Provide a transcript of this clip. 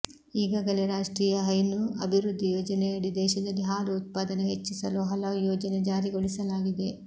ಈಗಾಗಲೇ ರಾಷ್ಟ್ರೀಯ ಹೈನು ಅಭಿ ವೃದ್ಧಿ ಯೋಜನೆಯಡಿ ದೇಶದಲ್ಲಿ ಹಾಲು ಉತ್ಪಾದನೆ ಹೆಚ್ಚಿಸಲು ಹಲವು ಯೋಜನೆ ಜಾರಿಗೊಳಿಸಲಾಗಿದೆ